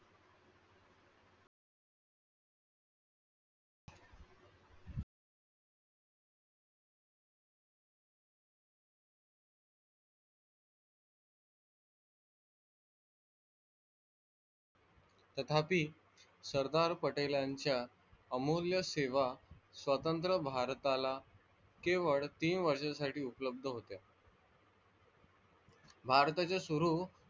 तथापि सरदार पटेलांच्या अमूल्य सेवा स्वतंत्र भारताला केवळ तीन वर्षासाठी उपलब्ध होत्या. भारताच्या सुरु,